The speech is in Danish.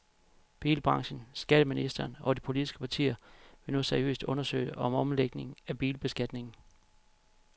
Bilbranchen, skatteministeren og de politiske partier vil nu seriøst undersøge en omlægning af bilbeskatningen.